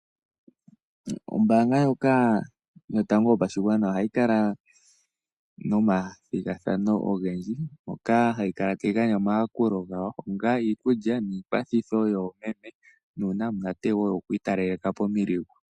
Ombaanga ndjoka yotango yopashigwana ohayi kala nomathigathano ogendji moka hayi kala tayi gandja omayakulo gayo onga iikulya niikwathitho yoomeme nuu namunate wo kwiitalaleka pomiligu.